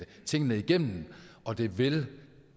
tingene igennem og det ville